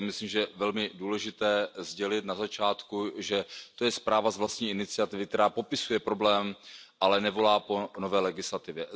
To je myslím, že velmi důležité sdělit na začátku, že to je zpráva z vlastní iniciativy, která popisuje problém, ale nevolá po nové legislativě.